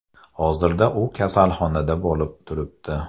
Hozirda u kasalxonada bo‘lib turibdi.